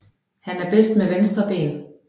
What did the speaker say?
Han er bedst med venstre ben